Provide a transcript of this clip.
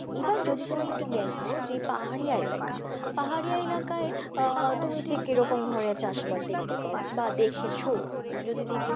এবার যদি তুমি একটু দেখো যে পাহাড়িয়া এলাকা, পাহাড়িয়া এলাকায় আহ তুমি ঠিক কি ধরনের চাষবাস দেখতে পাও বা দেখেছো যদি